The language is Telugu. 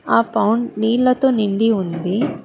ఆ పౌండ్ నీళ్లతో నిండి ఉంది.